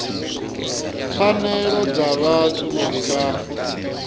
pfanelo dza vhathu uri vha